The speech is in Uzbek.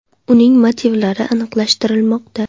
Uning motivlari aniqlashtirilmoqda.